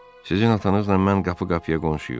Sizin atanızla mən qapı-qapıya qonşuyuq.